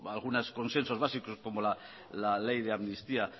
algunos consensos básicos como la ley de amnistía